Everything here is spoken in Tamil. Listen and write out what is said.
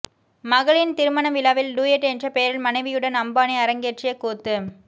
மகளின் திருமண விழாவில் டூயட் என்ற பெயரில் மனைவியுடன் அம்பானி அரங்கேற்றிய கூத்து